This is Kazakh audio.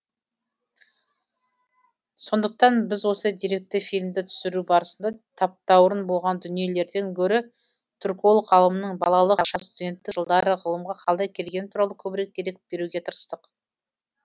сондықтан біз осы деректі фильмді түсіру барысында таптаурын болған дүниелерден гөрі түрколог ғалымның балалық шағы студенттік жылдары ғылымға қалай келгені туралы көбірек дерек беруге тырыстық